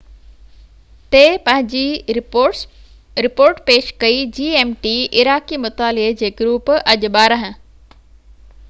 عراقي مطالعي جي گروپ اڄ 12.00 gmt تي پنهنجي رپورٽ پيش ڪئي